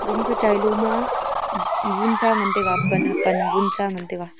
gaman chailo ma gunsa ngan taiga pan pan gunsa ngan taiga.